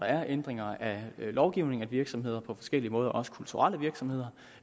er ændringer af lovgivningen at virksomheder på forskellige måder også kulturelle virksomheder